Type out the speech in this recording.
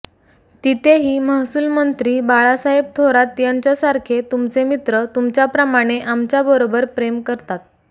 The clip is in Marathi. तिथे ही महसुलमंत्री बाळासाहेब थोरात यांच्यासारखे तुमचे मित्र तुमच्याप्रमाणे आमच्याबरोबर प्रेम करतात